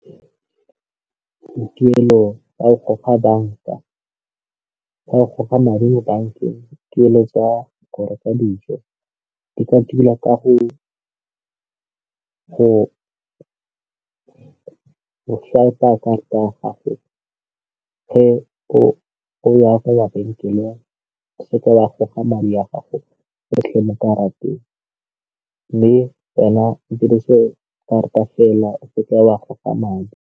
Tuelo ya go goga banka fa o goga madi mo bankeng tuelo tsa go reka dijo di ka tilwa ka go go swiper karata ya gage, ge o ya ko mabenkeleng e se ke ya goga madi a o ka ratang mme wena o dirise karata fela ka a goga madi.